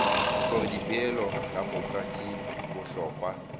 gore dipoelo kamoka tše bohlokwa